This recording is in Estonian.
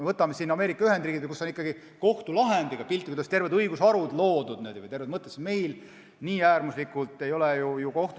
Võtame siin Ameerika Ühendriigid, kus on kohtulahendiga piltlikult öeldes terved õigusharud loodud, meil kohtud ei ole nii äärmuslikud olnud.